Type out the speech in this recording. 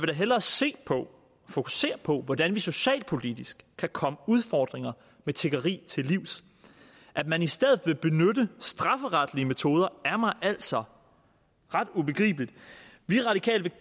da hellere se på fokusere på hvordan vi socialpolitisk kan komme udfordringer med tiggeri til livs at man i stedet vil benytte strafferetlige metoder er mig altså ret ubegribeligt vi radikale vil